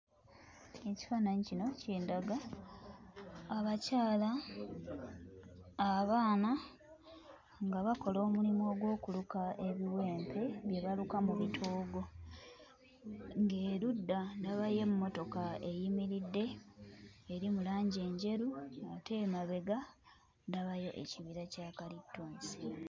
Ekifaananyi kino kindaga abakyala abaana nga bakola omulimu ogw'okuluka ebiwempe bye baluka mu bitoogo ng'erudda ndabayo emmotoka eyimiridde eri mu langi enjeru ate emabega ndabayo ekibira kya kalitunsi.